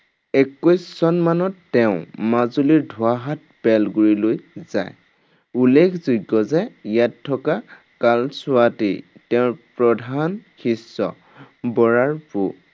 একৈশ চন মানত তেওঁ মাজুলীৰ ধোঁৱাহাট বেলগুৰিলৈ যায়। উল্লেখযোগ্য যে ইয়াত থকা কালছোৱাতেই তেওঁৰ প্ৰধান শিষ্য বৰাৰ পো